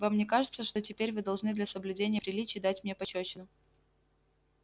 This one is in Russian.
вам не кажется что теперь вы должны для соблюдения приличий дать мне пощёчину